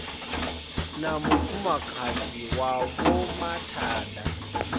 na mufumakadzi wa vho mathada